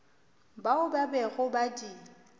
bao ba bego ba di